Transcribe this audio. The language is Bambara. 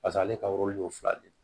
Paseke ale ka ye fila de ye